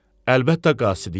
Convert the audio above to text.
Əlbəttə qasidiyəm.